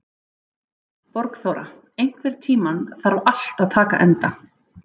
Borgþóra, einhvern tímann þarf allt að taka enda.